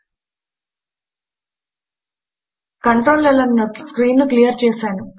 control L అని నొక్కి నేను స్క్రీన్ ను క్లియర్ చేస్తాను